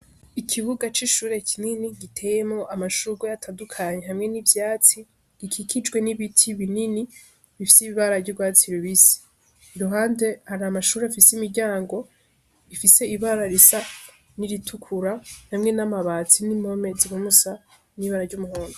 Ikibuga ci shure kinini giteyemwo amashurwe atandukanye hamwe n'ivyatsi gikikijwe n'ibiti binini gifise ibara ry'urwatsi rubisi, iruhande hari amashure afise imiryango ifise ibira risa nkiri tukura hamwe n'amati n'impome zigomba gusa n'ibara ry'umuhondo.